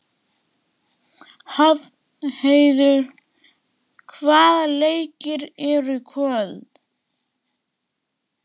Hrafnheiður, hvaða leikir eru í kvöld?